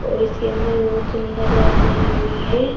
और इसके अंदर बहुत सुंदर लाइट लगी हुई है।